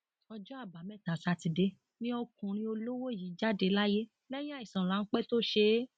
ọjọ àbámẹta sátidé ni ọkùnrin olówó yìí jáde láyé lẹyìn àìsàn ráńpẹ tó ṣe é